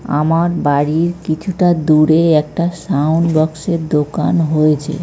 আমার বাড়ির কিছুটা দূরে একটা সাউন্ড বক্স -এর দোকান হয়েছে।